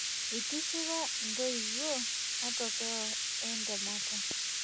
Eitishipa intoiwuo matokeo entemata.